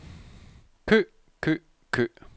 kø kø kø